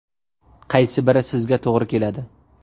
Qaysi biri sizga to‘g‘ri keladi?